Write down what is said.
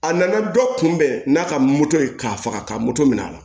A nana dɔ kun bɛn n'a ka moto ye k'a faga ka moto minɛ a la